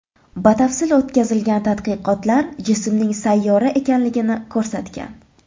Batafsil o‘tkazilgan tadqiqotlar jismning sayyora ekanligini ko‘rsatgan.